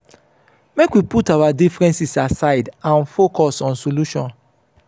make we put our differences aside and focus on solution.